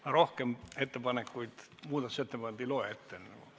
" Ma rohkem muudatusettepanekuid ette ei loe.